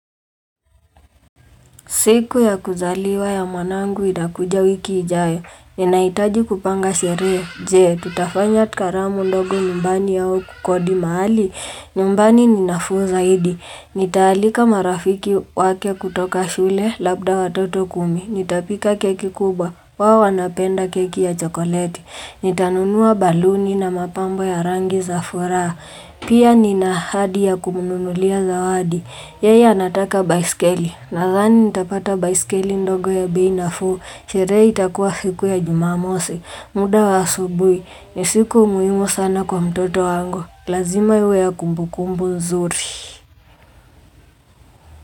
Siku ya kuzaliwa ya mwanangu itakuja wiki ijayo. Ninahitaji kupanga sherehe. Je, tutafanya karamu ndogo nyumbani au kukodi mahali? Nyumbani ni nafuu zaidi. Nitaalika marafiki wake kutoka shule labda watoto kumi. Nitapika keki kubwa. Wao wanapenda keki ya chokoleti. Nitanunua baluni na mapambo ya rangi za furaha. Pia nina ahadi ya kumnunulia zawadi. Yeye anataka baiskeli. Nadhani nitapata baiskeli ndogo ya bei nafuu Sherehe itakuwa siku ya jumamosi muda wa asubuhi ni siku muhimu sana kwa mtoto wangu Lazima iwe ya kumbu kumbu zuri.